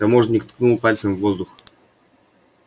таможенник ткнул пальцем в воздух